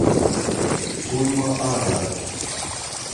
туймаада